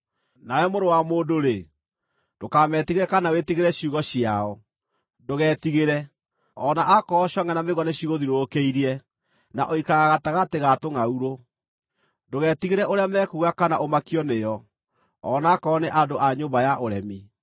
Nawe mũrũ wa mũndũ-rĩ, ndũkametigĩre kana wĩtigĩre ciugo ciao. Ndũgetigĩre, o na akorwo congʼe na mĩigua nĩcigũthiũrũrũkĩirie, na ũikaraga gatagatĩ ga tũngʼaurũ. Ndũgetigĩre ũrĩa mekuuga kana ũmakio nĩo, o na akorwo nĩ andũ a nyũmba ya ũremi.